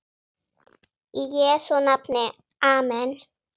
Í Jesú nafni amen.